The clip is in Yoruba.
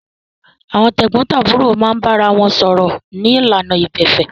Àwọn tẹ̀gbọ́ntàbúrò máa ń bára wọn sọ̀rọ̀ ní ìlànà ìgbẹ̀fẹ́